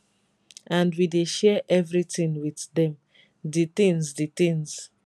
and we dey share evritin wit dem di tins di tins